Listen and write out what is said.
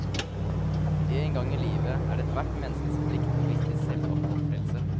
En gang i livet er det ethvert menneskes plikt å vise litt selvoppofrelse.